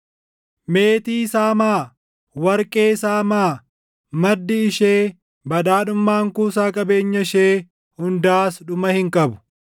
Meetii saamaa! Warqee saamaa! Maddi ishee, badhaadhummaan kuusaa qabeenya ishee hundaas dhuma hin qabu!